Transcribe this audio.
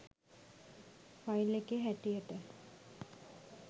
file එකේ හැටියට